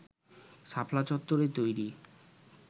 শাপলা চত্বরে তৈরি